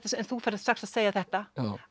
þú ferð strax að segja þetta